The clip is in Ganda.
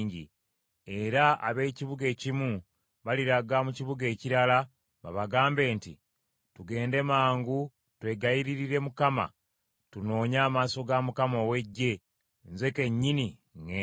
era ab’ekibuga ekimu baliraga mu kibuga ekirala babagambe nti, ‘Tugende mangu twegayiririre Mukama , tunoonye amaaso ga Mukama ow’Eggye. Nze kennyini ŋŋenda.’